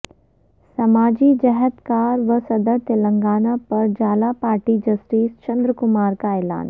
سماجی جہدکار و صدر تلنگانہ پرجالا پارٹی جسٹس چندرا کمار کا اعلان